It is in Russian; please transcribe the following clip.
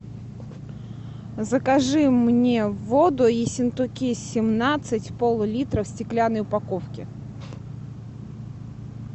закажи мне воду ессентуки семнадцать поллитра в стеклянной упаковке